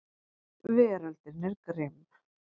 Veröldin er grimm.